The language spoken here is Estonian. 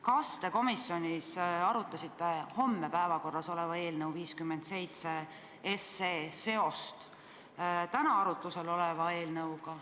Kas te komisjonis arutasite homme päevakorras oleva eelnõu 57 seost täna arutlusel oleva eelnõuga?